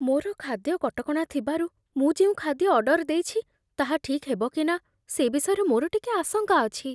ମୋର ଖାଦ୍ୟ କଟକଣା ଥିବାରୁ, ମୁଁ ଯେଉଁ ଖାଦ୍ୟ ଅର୍ଡର ଦେଇଛି, ତାହା ଠିକ୍ ହେବ କି ନା, ସେ ବିଷୟରେ ମୋର ଟିକିଏ ଆଶଙ୍କା ଅଛି।